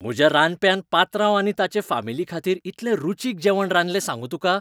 म्हज्या रांदप्यान पात्रांव आनी ताचे फामिलीखातीर इतलें रुचीक जेवण रांदलें सांगूं तुका.